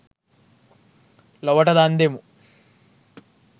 ලොවට දන් දෙමු